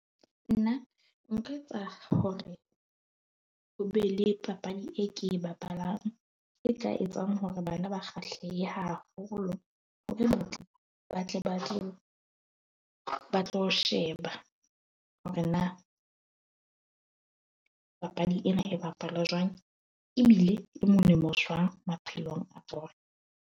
Nna nka etsa hore ho be le papadi e ke e bapalang, e ka etsang hore bana ba kgahlehe haholo hore batle ba ba tlo sheba, hore na papadi ena e bapalwa jwang ebile e molemo jwang maphelong a .